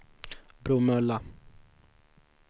Bromölla